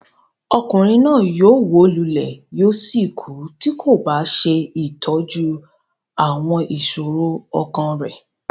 Ọkùnrin náà yóò wó lulẹ̀ yóò sì kú tí kò bá ṣe ìtọ́jú àwọn ìṣòro ọkàn rẹ̀.